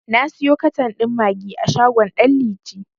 Na siyo katan ɗin maggi a shagon ɗan liti.